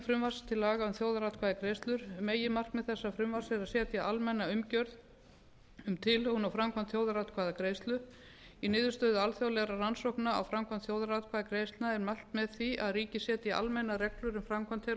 frumvarp til laga um þjóðaratkvæðagreiðslur meginmarkmið þessa frumvarps er að setja almenna umgjörð um tilhögun og framkvæmd þjóðaratkvæðagreiðslu í niðurstöðum alþjóðlegrar rannsókna á framkvæmd þjóðaratkvæðagreiðslna er mælt með því að ríkið setji almennar reglur um framkvæmd þeirra og